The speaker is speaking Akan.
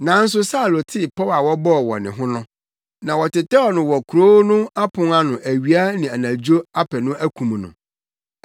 nanso Saulo tee pɔw a wɔbɔɔ wɔ ne ho no. Na wɔtetɛw no wɔ kurow no apon ano awia ne anadwo apɛ no akum no.